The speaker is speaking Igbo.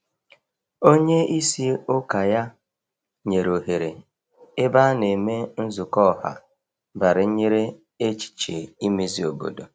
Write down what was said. Onye isi ụkọ ya nyere ohere ebe a na emee nzukọ ọha banyere echiche imezi obodo.